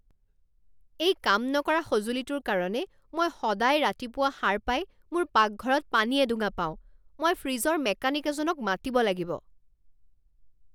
এই কাম নকৰা সঁজুলিটোৰ কাৰণে মই সদায় ৰাতিপুৱা সাৰ পাই মোৰ পাকঘৰত পানী এডোঙা পাওঁ! মই ফ্ৰিজৰ মেকানিক এজনক মাতিব লাগিব।